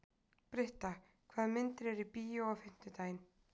Britta, hvaða myndir eru í bíó á fimmtudaginn?